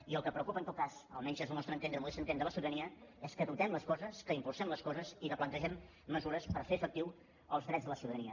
i el que preocupa en tot cas almenys des del nostre entendre modest entendre la ciutadania és que dotem les coses que impulsem les coses i que plantegem mesures per fer efectius els drets de la ciutadania